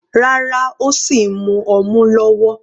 Rárá, ó sìn mu ọmu lọ́wọ́.